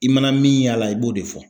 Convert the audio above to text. I mana min y'a la i b'o de fɔ